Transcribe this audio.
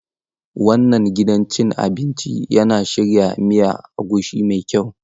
Wannan gidan cin abinci yana shirya miya agushi mai kyau.